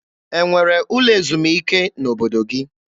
E nwere ụlọ ezumike n'obodo gị?